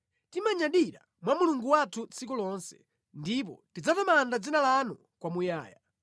Timanyadira mwa Mulungu wathu tsiku lonse, ndipo tidzatamanda dzina lanu kwamuyaya.